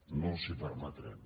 no els ho permetrem